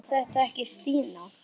Var þetta ekki Stína?